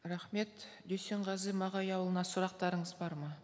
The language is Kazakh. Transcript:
рахмет дүйсенғазы мағауияұлына сұрақтарыңыз бар ма